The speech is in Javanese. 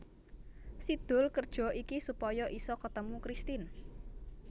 Si Doel kerja iki supaya isa ketemu Kristin